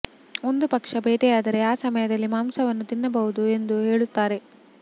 ಒಂದು ಪಕ್ಷ ಬೇಟೆಯಾದರೆ ಆ ಸಮಯದಲ್ಲಿ ಮಾಂಸವನ್ನು ತಿನ್ನಬಹುದು ಎಂದು ಹೇಳುತ್ತಾರೆ